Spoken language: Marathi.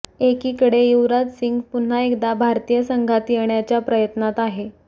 एकीकडे युवराज सिंग पुन्हा एकदा भारतीय संघात येण्याच्या प्रयत्नात आहे